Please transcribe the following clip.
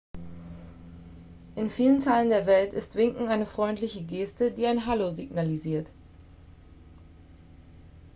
in vielen teilen der welt ist winken eine freundliche geste die ein hallo signalisiert